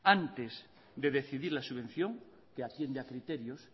antes de decidir la subvención que atiende a criterios